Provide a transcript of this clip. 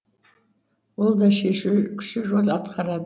ол да шешуші рөл атқарады